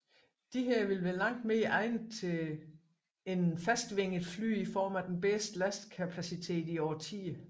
Disse ville være langt mere egnede end fastvingede fly i form af den bedste lastkapacitet i årtier